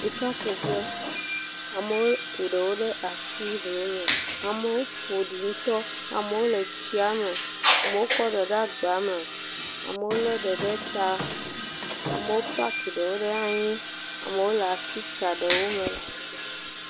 Sika kuƒe, amewo ku ɖewo asi hlo me. Amewo ƒoɖi ŋutɔ, wole tsia me, amewo kɔ ɖe ɖe agba me, amewo le ɖe ɖe ta, amewo pack ɖewo ɖe anyi. Amewo le asi tsa ɖewo me.